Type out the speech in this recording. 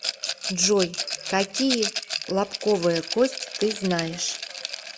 джой какие лобковая кость ты знаешь